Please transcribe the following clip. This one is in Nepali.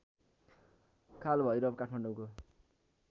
कालभैरव काठमाडौँको